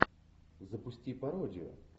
запусти пародию